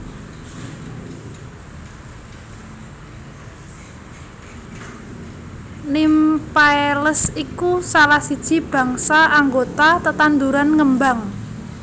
Nymphaeales iku salah siji bangsa anggota tetanduran ngembang